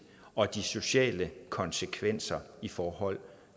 og de sociale konsekvenser i forhold